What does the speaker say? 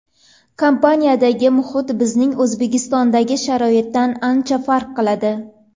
Kompaniyadagi muhit bizning O‘zbekistondagi sharoitdan ancha farq qiladi.